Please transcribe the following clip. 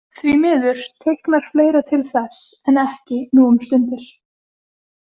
Því miður teiknar fleira til þess en ekki nú um stundir.